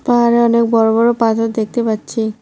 পাহাড়ে অনেক বড় বড় পাথর দেখতে পাচ্ছি।